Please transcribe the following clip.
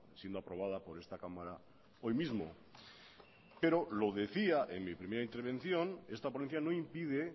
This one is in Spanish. siendo aprobada por esta cámara hoy mismo pero lo decía en mi primera intervención esta ponencia no impide